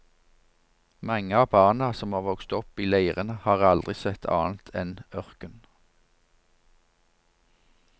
Mange av barna som har vokst opp i leirene har aldri sett annet enn ørken.